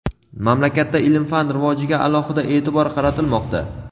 Mamlakatda ilm-fan rivojiga alohida e’tibor qaratilmoqda.